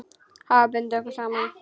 Hafa bundið okkur saman.